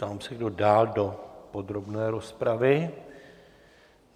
Ptám se, kdo dál do podrobné rozpravy?